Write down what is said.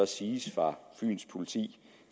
siges fra fyns politi